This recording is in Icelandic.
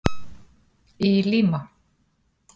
Í Lima